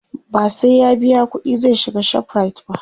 ba sai ya biya ƙuɗi zai shiga ShopRite ba